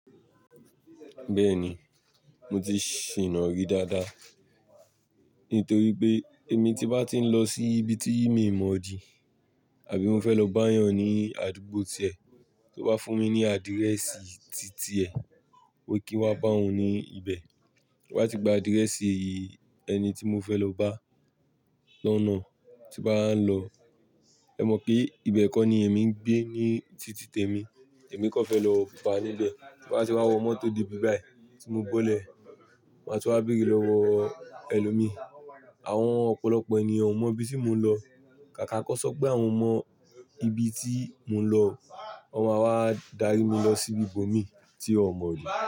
Bẹ́ẹ̀ni, mo ti ṣìná rí dáadáa. Nítorí pé èmi tí bá ti ń lọ sí ibi tí mi mọ̀ rí, àbí mo fẹ́ lọ bá a yàn ní àdúgbò tìẹ, tó bá fún mi ní adirẹ̀ẹ̀sì tìtì ẹ, wípé kí n wá bá ọ ní ibẹ̀. Tí n ba ti gba adirẹ̀ẹ̀sì yìí ẹni tí mo fẹ́ lọ bá, lọ́nà tí ba wa n lọ, ẹ mọ̀ pé ibẹ̀ kan ni èmi ń gbé ní tìtì tèmi, èmi kọ́ fẹ́ lọ ba a níbẹ̀. Tí n ba tì wá wọ mọ́tò dé ibi báyìí tí mo bọ́lẹ̀, màá sì wá bèrè lọ́wọ́ ẹlòmíì. Àwọn ọ̀pọ̀lọpọ̀ ènìyàn ò mọ ibi tí mò ń lọ. Kàkà kọ́ sọ pé àwọn mọ ibi tí mò ń lọ, wọ́n máa wá dárí mi lọ sí ibòmíì tí a ò mọ̀ rí.